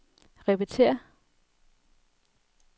repetér